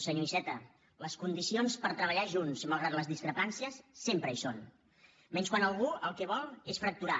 senyor iceta les condicions per treballar junts malgrat les discrepàncies sempre hi són menys quan algú el que vol és fracturar